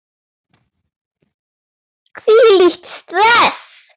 Hvílíkt stress!